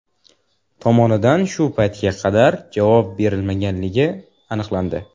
tomonidan shu paytga qadar javob berilmaganligi aniqlandi.